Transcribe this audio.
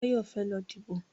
Báyọ̀ fẹ́ lọ díbò